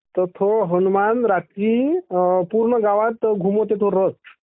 तर थो हनुमान रात्री पूर्ण गावात घुमवते तो रथ.